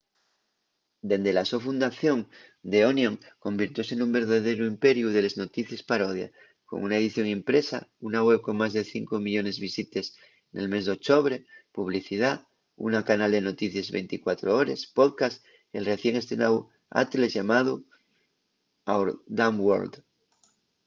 dende la so fundación the onion convirtióse nun verdaderu imperiu de les noticies parodia con una edición impresa una web con más de 5 000 000 visites nel mes d'ochobre publicidá una canal de noticies 24 hores podcast y el recién estrenáu atles llamáu our dumb world